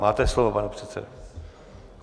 Máte slovo, pane předsedo.